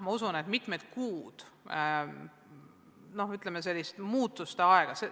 Ma usun, et ees seisab mitmeid kuid, ütleme, muutuste aega.